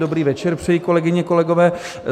Dobrý večer přeji, kolegyně, kolegové.